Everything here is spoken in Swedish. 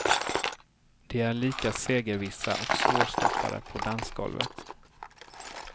De är lika segervissa och svårstoppade på dansgolvet.